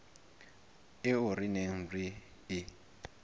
eo re neng re e